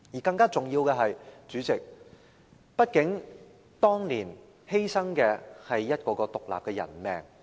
更重要的是，主席，畢竟當年犧牲的，是一條條獨立的人命。